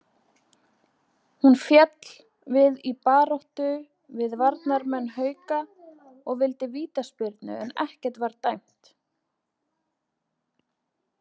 Hún féll við í baráttu við varnarmenn Hauka og vildi vítaspyrnu en ekkert var dæmt.